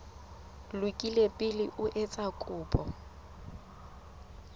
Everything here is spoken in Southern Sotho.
lokile pele o etsa kopo